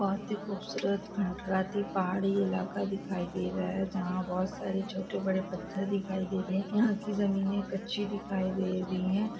बहुत ही खुबसूरत पहाड़ी इलाका दिखाई दे रहा है जहा बहुत सारे छोटे बड़े पत्थर दिखाई दे रहे है यहा की जमीने कच्ची दिखाई दे रही है।